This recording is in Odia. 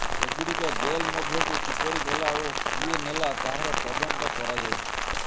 ଏଗୁଡିକ ଜେଲ ମଧ୍ୟକୁ କିପରି ଗଲା ଓ କିଏ ନେଲା ତାହାର ତଦନ୍ତ କରାଯାଉଛି